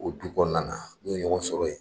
O du kɔnɔna na n'u ye ɲɔgɔn sɔrɔ yen